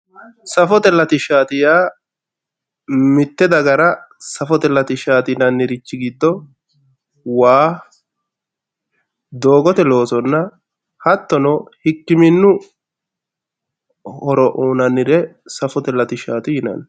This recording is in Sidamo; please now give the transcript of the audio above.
Safote latishshati yaa mite dagara safote latishshati yinannirchi giddo waa doogote loosonna hattono hikkiminu horo uyinannire safote latishshati yinanni.